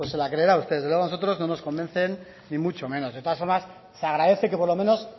la creerá usted desde luego nosotros no nos convencen ni mucho menos de todas formas se agradece que por lo menos